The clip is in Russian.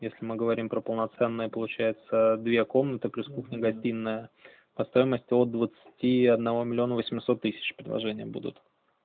если мы говорим про полноценные получается две комнаты плюс кухня гостиная по стоимости от двадцати одного миллиона восемьсот тысяч предложения будут